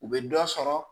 U bɛ dɔ sɔrɔ